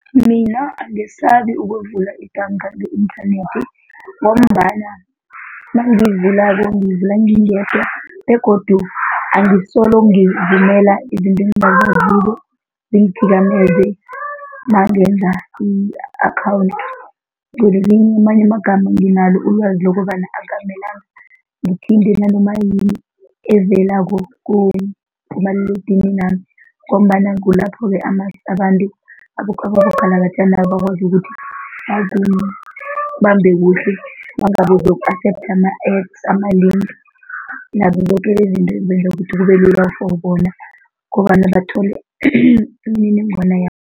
Mina angesabi ukwevula ibhanga nge-inthanethi ngombana nangiyivulako ngiyivula ngingendwa begodu angisolo ngivumela izinto engingazaziko zingithikameze mangenza i-akhawundi. Ngamanye amagama nginalo ulwazi lokobana akukamelanga ngithinte nanoma yini evelako kumaliledininami ngombana kulapho-ke abantu abogalagajanaba bakwazi ukuthi bakubambe kuhle nangabe bowu-accept ama-apps, ama-link nazo zoke lezinto ezenza ukuthi kubelula for bona ngombana bathole imininingwana